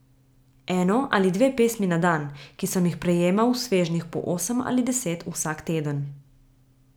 Eno ali dve pismi na dan, ki sem jih prejemal v svežnjih po osem ali deset vsak teden.